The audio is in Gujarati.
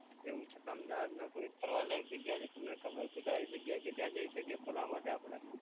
કેવુ છે અમદાવાદમાં કોઈ ફરવા લાયક જગ્યા છે તમને ખબર છે સારી જગ્યા કે ત્યાં જઈ શકીએ ફરવા માટે આપડે?